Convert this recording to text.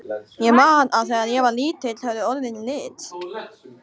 Ég man að þegar ég var lítill höfðu orðin lit.